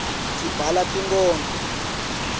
sibhala tinkodlo